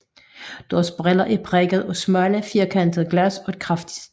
Deres briller er præget af smalle firkantede glas og et kraftigt stel